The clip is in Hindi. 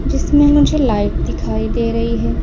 जिसमें मुझे लाइट दिखाई दे रही है।